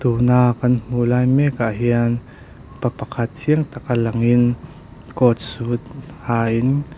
tuna kan hmuh lai mek ah hian pa pakhat chiang taka langin coat suit ha in--